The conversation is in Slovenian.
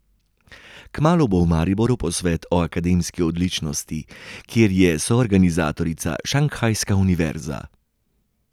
Kmalu bo v Mariboru posvet o akademski odličnosti, kjer je soorganizatorica šanghajska univerza.